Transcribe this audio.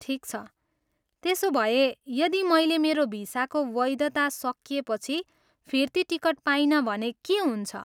ठिक छ, त्यसोभए यदि मैले मेरो भिसाको वैधता सकिएपछि फिर्ती टिकट पाइन भने के हुन्छ?